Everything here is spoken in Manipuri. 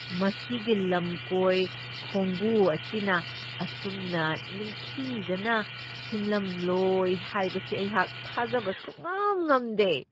ꯃꯁꯤꯒꯤ ꯂꯝꯀꯣꯏ ꯈꯣꯡꯕꯨ ꯑꯁꯤꯅ ꯑꯁꯨꯝꯅ ꯅꯤꯡꯊꯤꯖꯅ ꯁꯤꯟꯂꯝꯂꯣꯏ ꯍꯥꯏꯕꯁꯤ ꯑꯩꯍꯥꯛ ꯊꯥꯖꯕ ꯁꯨꯛꯉꯝ ꯉꯝꯗꯦ ꯫